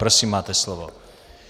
Prosím, máte slovo.